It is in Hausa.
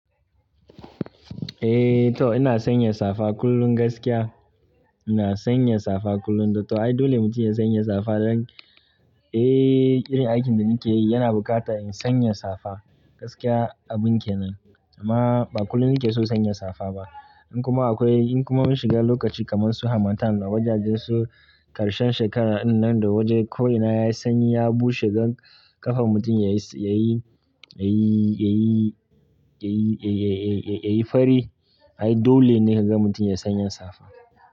Eh to ina sanya safa kullum gaskiya, ina sanya safa kullum. To ai dole mutum ya sanya safa, eh tsarin aikin da nake yi yana bukatan in sanya safa gaskiya abun kenan. Amma ba kullum nake so sanya safa ba. In kuma akwai, in kuma mun shiga lokaci kamar su harmattan da wajajen su ƙarshen shekara dinnan da wajen ko ina yayi sanyi ya bushe ganda ƙafan mutum yayi, yayi, yayi, yayi, yayi fari ai dole ne kaga mutum ya sanya safa.